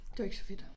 Det var ikke så fedt